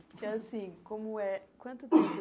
É assim, como é, quanto tempo?